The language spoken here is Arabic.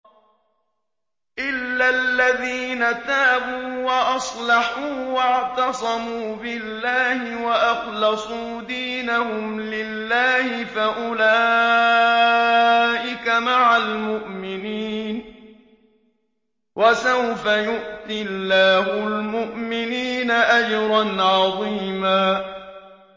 إِلَّا الَّذِينَ تَابُوا وَأَصْلَحُوا وَاعْتَصَمُوا بِاللَّهِ وَأَخْلَصُوا دِينَهُمْ لِلَّهِ فَأُولَٰئِكَ مَعَ الْمُؤْمِنِينَ ۖ وَسَوْفَ يُؤْتِ اللَّهُ الْمُؤْمِنِينَ أَجْرًا عَظِيمًا